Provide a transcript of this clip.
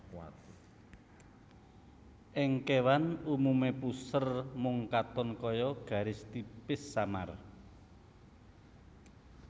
Ing kéwan umumé puser mung katon kaya garis tipis samar